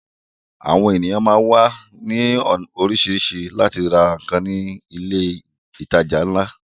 Àwọn ènìyàn máá ń wá ní orísìírísìí láti ra nǹkan ní ilé ìtajà ńlá